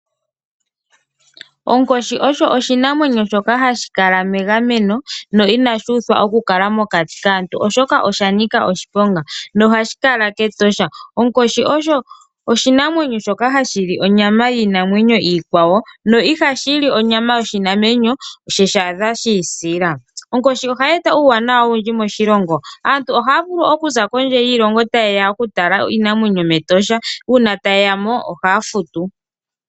Onkoshi osho oshinamwenyo shok ahashi kala megameno no inashi uthwa okukala mokati kaantu, oshoka osha nika oshiponga nohashi kala kEtosha. Onkoshi osho oshinamwenyo shoka hashi li onyama yiinamwenyo iikwawo no ihashi li onyama yoshinamwenyo ye shi adha shi isila. Onkoshi ohayi eta uuwanawa owundji moshilongo. Aantu ohaya vulu okuza kondje yiilongo taye ya okutala iinamwenyo mEtosha. Uuna taye ya mo ohaya futu.